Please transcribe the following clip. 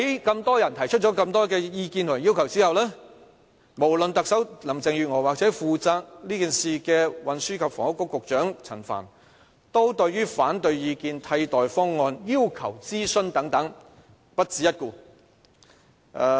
眾多人提出了眾多意見及要求之後，無論特首林鄭月娥或是負責這件事的運輸及房屋局局長陳帆，對於反對意見、替代方案、要求諮詢等均不屑一顧。